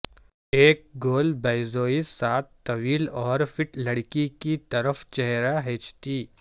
ایک گول بیضوی ساتھ طویل اور فٹ لڑکی کی طرف چہرہ ھیںچتی